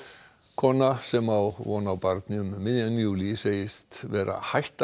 kona sem á von á barni um miðjan júlí segist vera hætt